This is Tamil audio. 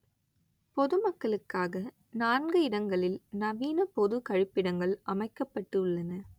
பொது மக்களுக்காக நான்கு இடங்களில் நவீன பொது கழிப்பிடங்கள் அமைக்கப்பட்டு உள்ளன